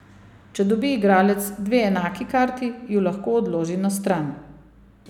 Če dobi igralec dve enaki karti, ju lahko odloži na stran.